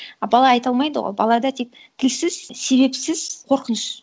а бала айта алмайды ғой балада тек тілсіз себепсіз қорқыныш